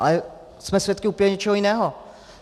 Ale jsme svědky úplně něčeho jiného.